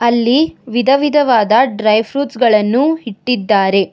ಇಲ್ಲಿ ವಿಧ ವಿಧವಾದ ಡ್ರೈ ಫ್ರೂಟ್ಸ್ ಗಳನ್ನು ಇಟ್ಟಿದ್ದಾರೆ.